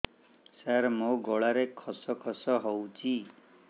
ସାର ମୋ ଗଳାରେ ଖସ ଖସ ହଉଚି